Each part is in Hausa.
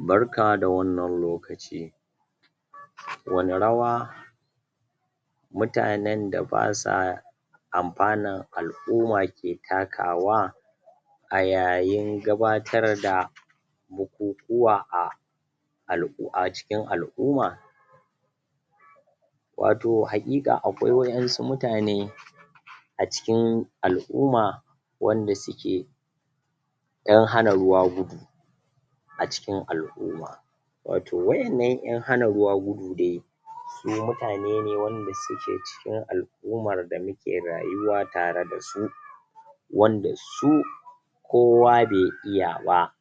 Barka da wannan lokaci Wane rawa mutanen da basa amfanan al'uma ke takawa a yayin gabatar da bukukuwa a al'u, a cikin al'uma wato haƙiƙa akwai waƴansu mutane a cikin al'uma wanda suke ƴan hana ruwa gudu a cikin al'uma wato waƴannan ƴan hana ruwa gudu dai su mutane ne wanda suke cikin al'umar da muke rayuwa tare dasu wanda su kowa be iya ba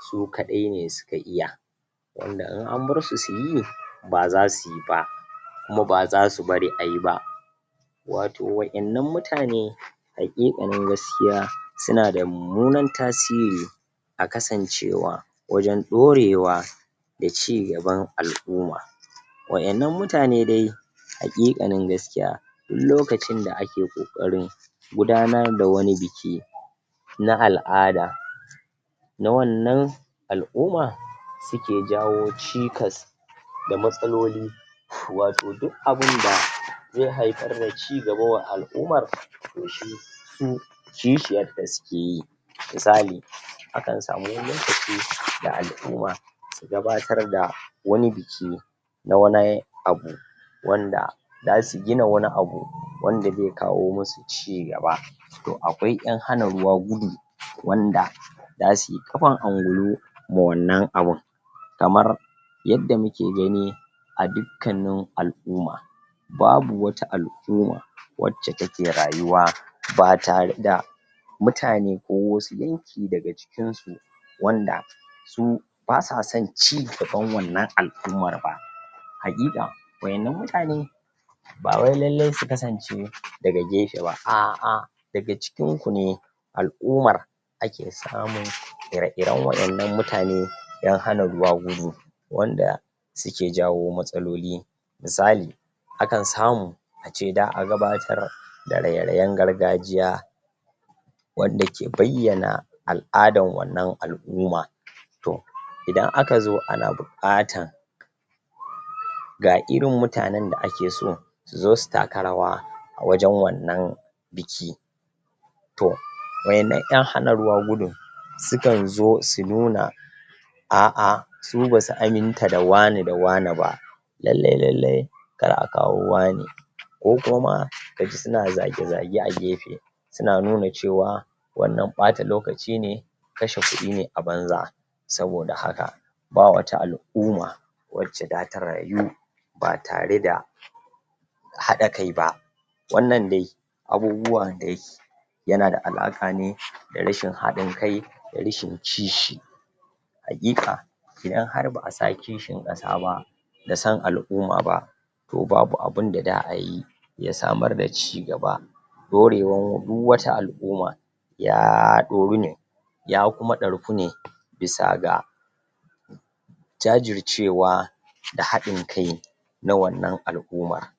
su kaɗai ne suka iya wanda in an barsu suyi ba zasuyi ba kuma ba zasu bari ayi ba wato waƴannan mutane haƙiƙanin gaskiya, sunada mummunan tasiri a kasancewa wajen ɗorewa da cigaban al'uma waƴannan mutane dai haƙiƙanin gaskiya du lokacin da ake ƙoƙarin gudanar da wani biki na al'ada na wannan al'uma suke jawo cikas da matsaloli wato duk abinda ze haifar me cigaba wa al'umar, to shi su kishiyarta sukeyi misali akan samu wani lokaci da al'uma zasu gabatarda wani biki na wani abu wanda dasu gina wani abu, wanda ze kawo musu cigaba to akwai ƴan hana ruwa gudu wanda dasuyi ƙafan angulu ma wannan abun kamar yadda muke gani a dukkanin al'uma babu wata al'uma wacce take rayuwa batare da mutane, ko wasu yanki daga cikinsu wanda su, basason cigaban wannan al'umar ba haƙiƙa waƴannan mutane bawai lallai su kasance daga gefe ba, a'a daga cikinku ne al'umar ake samun ire-iren waƴannan mutane ƴan hana ruwa gudu wanda suke jawo matsaloli misali akan samu ace da a gabatar da raye-rayen gargajiya wanda ke bayyana al'adan wannan al'uma to idan aka zo ana buƙatan? ga irin mutane da ake so suzo su taka rawa a wajen wannan biki to waƴannan ƴan hana ruwa gudun sukanzo, su nuna a'a su basu aminta da wane da wane ba lallai-lallai kar akawo wane ko kuma kaji suna zage-zage a gefe suna nuna cewa wannan ɓata lokaci ne kashe kuɗi ne a banza saboda haka bawata al'uma wacce data rayu batare da haɗa kai ba wannan dai abubuwan dai yanada alaƙa ne da rashin haɗin kai, da rashin kishi haƙiƙa idan har ba asa kishin ƙasa ba da son al'uma ba to babu abinda da ayi ya samar da cigaba ɗorewan du wata al'uma ya ɗoru ne ya kuma ɗarku ne bisa ga jajircewa da haɗin kai na wannan al'umar